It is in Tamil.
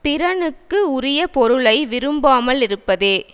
பிறனுக்கு உரிய பொருளை விரும்பாமல் இருப்பதே